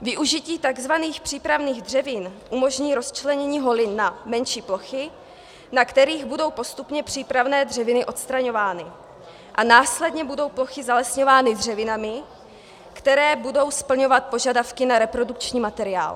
Využití tzv. přípravných dřevin umožní rozčlenění holin na menší plochy, na kterých budou postupně přípravné dřeviny odstraňovány, a následně budou plochy zalesňovány dřevinami, které budou splňovat požadavky na reprodukční materiál.